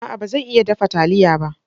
A'a! ba zan iya dafa taliya ba.